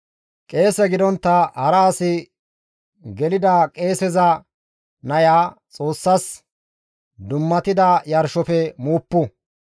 Qeese gidontta hara as gelida qeeseza naya Xoossas dummatida yarshofe muuppu.